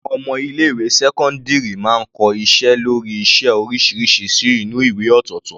Àwọn ọmọ ilé ìwé sẹ́cọ́ndírì máa ń kọ iṣẹ́ lórí iṣẹ́ oríṣiríṣi sínú ìwé ọ̀tọ̀ọ̀tọ̀.